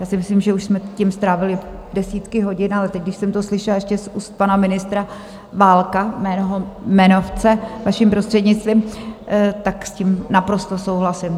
Já si myslím, že už jsme tím strávili desítky hodin, ale teď když jsem to slyšela ještě z úst pana ministra Válka, mého jmenovce, vaším prostřednictvím, tak s tím naprosto souhlasím.